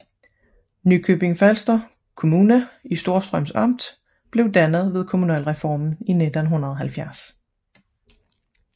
Nykøbing Falster Kommune i Storstrøms Amt blev dannet ved kommunalreformen i 1970